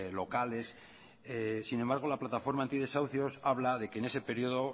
locales sin embargo la plataforma antidesahucios habla de que en ese periodo